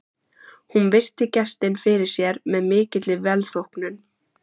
Hún virti gestinn fyrir sér með mikilli velþóknun.